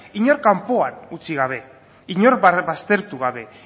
inor kanpoan utzi gabe inor baztertu gabe